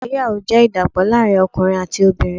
Ìgbéyàwó jẹ́ ìdàpọ̀ láàrín ọkùnrin àti obìnrin.